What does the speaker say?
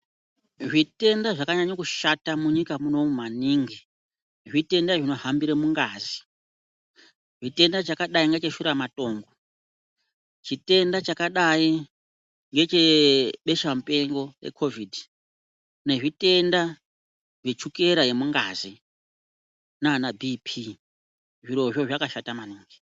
Zvitenda zvakanyanya kushata munyika munomu maningi zvitenda zvinohambira mungazi, chitenda chakadai ngecheshura matongo, chitenda chakadai ngechebesha mupengo rekovhidhi nezvitenda zvechukera yemungazi nana bhii phii zvirozvo zvakashata maningi.